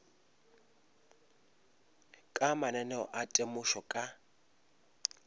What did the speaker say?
ka mananeo a temošo ka